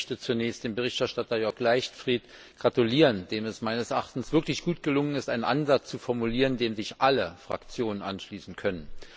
Auch ich möchte zunächst dem Berichterstatter, Jörg Leichtfried, gratulieren, dem es meines Erachtens wirklich gut gelungen ist, einen Ansatz zu formulieren, dem sich alle Fraktionen anschließen können.